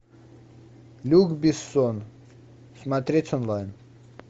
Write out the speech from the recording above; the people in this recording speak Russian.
люк бессон смотреть онлайн